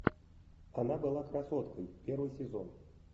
она была красоткой первый сезон